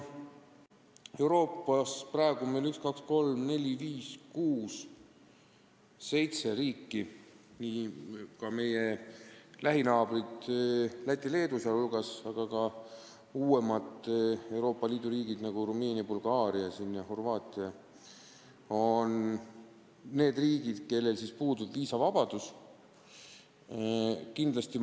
Euroopas on praegu seitse riiki, nende hulgas meie lähinaabrid Läti ja Leedu, aga ka uuemad Euroopa Liidu riigid, nagu Rumeenia, Bulgaaria ja Horvaatia, kellel puudub viisavabadus Lõuna-Aafrika Vabariigiga.